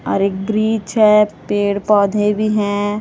और एक वृक्ष है। पेड़ पौधे भी हैं।